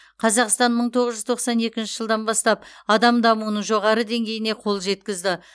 қазақстан мың тоғыз жүз тоқсан екінші жылдан бастап адам дамуының жоғары деңгейіне қол жеткізді